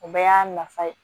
O bɛɛ y'a nafa ye